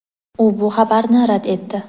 u bu xabarni rad etdi.